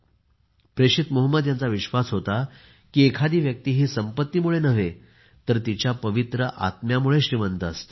प्रेषित मोहम्मद यांचा विश्वास होता की एखादी व्यक्ती ही संपत्तीमुळे नाही तर तिच्या पवित्र आत्म्यामुळे श्रीमंत असते